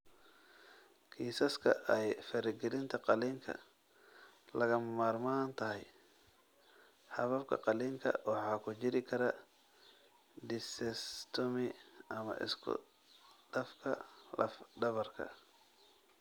Kiisaska ay faragelinta qalliinka lagama maarmaan tahay, hababka qalliinka waxaa ku jiri kara discectomy ama isku-dhafka laf-dhabarka.